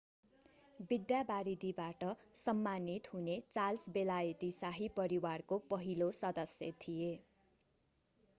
विद्यावारिधीबाट सम्मानित हुने चार्ल्स बेलायती शाही परिवारको पहिलो सदस्य थिए